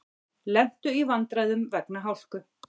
Lentu í vandræðum vegna hálku